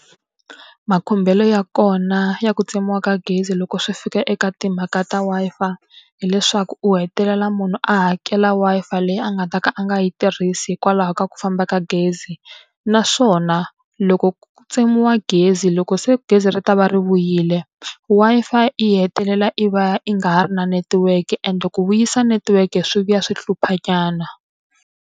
Makhumbelo ya kona ya ku tsemiwa ka gezi loko swi fika eka timhaka ta Wi-Fi, hileswaku u hetelela munhu a hakela Wi-Fi leyi a nga ta ka a nga yi tirhisi hikwalaho ka ku famba ka gezi. Naswona loko ku tsemiwa ka gezi loko se gezi ri ta va ri vuyile, Wi-Fi yi hetelela yi va yi nga ha ri na netiweke and ku vuyisa netiweke swi vuya swi hluphanyana.